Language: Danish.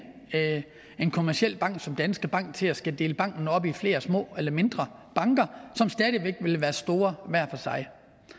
en kommerciel bank som danske bank til at skulle dele banken op i flere små eller mindre banker som stadig væk ville være store hver for sig